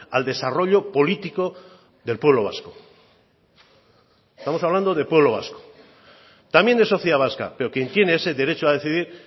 al desarrollo político del pueblo vasco estamos hablando del pueblo vasco también de sociedad vasca pero quien tiene ese derecho a decidir